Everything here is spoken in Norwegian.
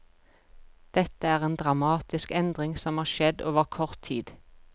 Dette er en dramatisk endring som har skjedd over kort tid.